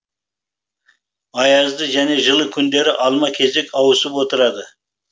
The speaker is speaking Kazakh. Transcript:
аязды және жылы күндер алма кезек ауысып отырады